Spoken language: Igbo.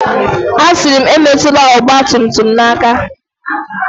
Asịrị m, Emetụla ọgba tum tum m aka!